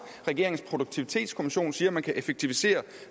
regeringens produktivitetskommission siger at man kan effektivisere